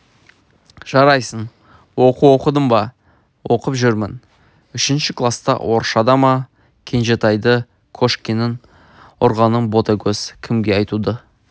жарайсың оқу оқыдың ба оқып жүрмін үшінші класта орысшада ма кенжетайды кошкиннің ұрғанын ботагөз кімге айтуды